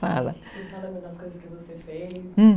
Fala, fala das coisas que você fez.